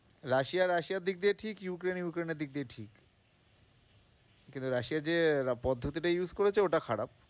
Russia রাশিয়ার দিক দিয়ে ঠিক, ইউক্রেন ইউক্রেনের দিক দিয়ে ঠিক কিন্তু রাশিয়া যে পদ্ধতিটা use করেছে ওটা খারাপ।